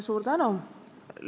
Suur tänu!